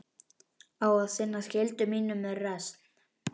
Á að sinna skyldu mínum með reisn.